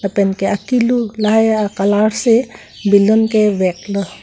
lapen ke akilu lahai colour si balloon ke vek lo.